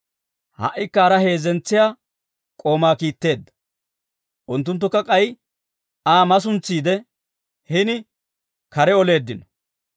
Ha"ikka haraa heezzentsiyaa k'oomaa kiitteedda. Unttunttukka k'ay Aa masuntsiide, hini kare oleeddino.